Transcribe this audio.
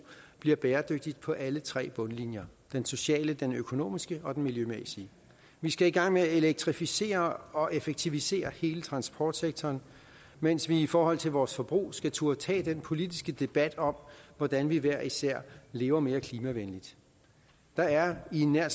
bliver bæredygtigt på alle tre bundlinjer den sociale den økonomiske og den miljømæssige vi skal i gang med at elektrificere og effektivisere hele transportsektoren mens vi i forhold til vores forbrug skal turde tage den politiske debat om hvordan vi hver især lever mere klimavenligt der er i nær